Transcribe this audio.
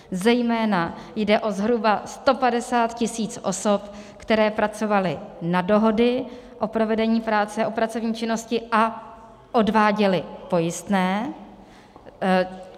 Zejména jde o zhruba 150 tisíc osob, které pracovaly na dohody o provedení práce, o pracovní činnosti a odváděly pojistné.